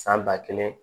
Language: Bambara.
San ba kelen